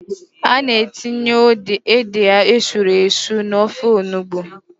A na-etinye ede esuru esu n'ofe onugbo.